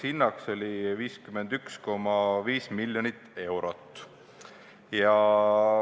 Hind oli 51,5 miljonit eurot.